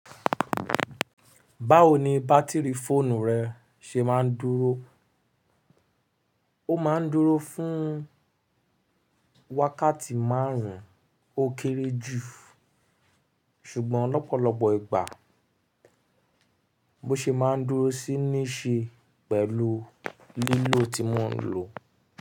Báwo ni bátìrì fóònù rẹ ṣe máa ń dúró? Ó máa ń dúró fún wákàtí márùn-ún ó kéré jù. Ṣùgbọ́n lọ́pọ̀lọpọ̀ ìgbà mo ṣè máa ń dúró sí níṣe pẹ̀lú lílò tí mo ń lò.